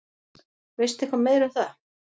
Veistu eitthvað meira um það?